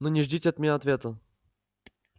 но не ждите от меня ответа